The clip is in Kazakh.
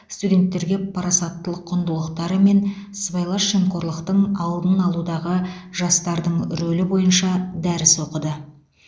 студенттерге парасаттылық құндылықтары мен сыбайлас жемқорлықтың алдын алудағы жастардың рөлі бойынша дәріс оқыды